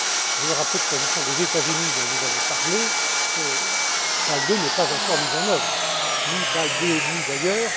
Je veux rappeler que s'agissant des États Unis dont vous avez parlé, Bâle II n'est pas encore mis en œuvre ni Bâle II et demi d'ailleurs.